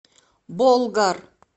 болгар